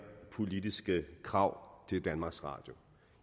politiske krav til danmarks radio